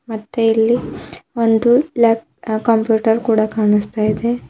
ಮತ್ತೆ ಇಲ್ಲಿ ಒಂದು ಲ್ಯಾಪ್ ಆ ಕಂಪ್ಯೂಟರ್ ಕೂಡ ಕಾಣುಸ್ತಾ ಇದೆ.